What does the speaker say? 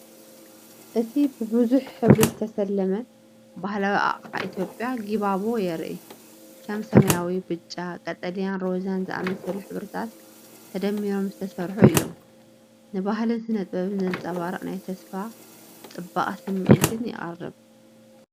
እቲ ብብዙሕ ሕብሪ ዝተሰለመ ባህላዊ ኣቅሓ ኢትዮጵያ "ጊባቦ" የርኢ። ከም ሰማያዊ፡ ብጫ፡ ቀጠልያን ሮዛን ዝኣመሰሉ ሕብርታት ተደሚሮም ዝተሰርሑ እዮም። ንባህልን ስነ-ጥበብን ዘንጸባርቕ ናይ ተስፋን ጽባቐን ስምዒት የቕርብ።